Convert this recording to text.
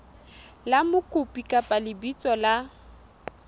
la mokopi kapa lebitso la